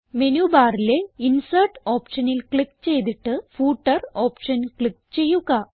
menu ബാറിലെ insert ഓപ്ഷനിൽ click ചെയ്തിട്ട് ഫൂട്ടർ ഓപ്ഷൻ ക്ലിക്ക് ചെയ്യുക